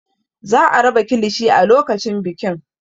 Za a raba kilishi a lokacin bikin.